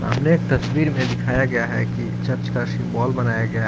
तस्वीर मे दिखाया गया है कि चर्च का सिंबोल बनाया गया--